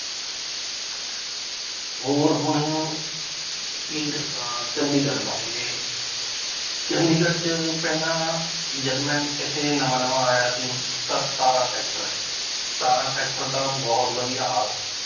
ਹੋਰ ਹੁਣ ਕੀ ਦੱਸਾਂ ਚੰਡੀਗੜ੍ਹ ਬਾਰੇ ਚੰਡੀਗੜ੍ਹ ਚ ਪਹਿਲਾਂ ਜਦ ਮੈਂ ਇੱਥੇ ਨਵਾਂ ਨਵਾਂ ਆਇਆ ਸੀ ਤਾਂ ਸਤਾਰਾਂ sector ਹੈ ਸਤਾਰਾਂ sector ਦਾ ਬਹੁਤ ਵਧੀਆ ਹਾਲ ਸੀ